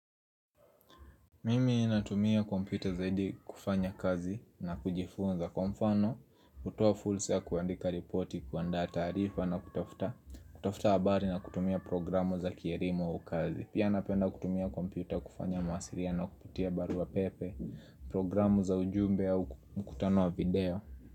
Mimi ninatumia kompita zaidi kufanya kazi na kujifunza kwa mfano kutoa fursa ya kuandika reporti kuandaa taarifa na kutafuta kutafuta habari na kutumia programu za kierimu au kazi Pia napenda kutumia kompita kufanya mawasiliano kupitia barua pepe Programu za ujumbe au mkutano wa video.